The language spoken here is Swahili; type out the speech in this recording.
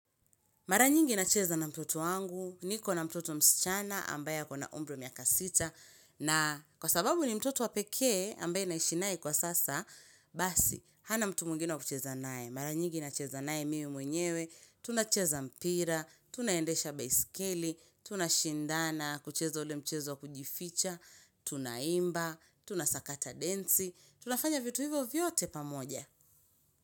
Maranyingi nacheza na mtoto wangu, niko na mtoto msichana, ambaye ako na umri wa miaka sita, na kwa sababu ni mtoto wa peke, ambaye naishi naye kwa sasa, basi, hana mtu mwingine wa kucheza naye. Maranyingi nacheza naye mimi mwenyewe, tunacheza mpira, tunaendesha baiskeli, tunashindana, kucheza ule mchezo wa kujificha, tunaimba, tunasakata densi, tunafanya vitu hivyo vyote pamoja.